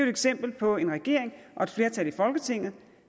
eksempel på en regering og et flertal i folketinget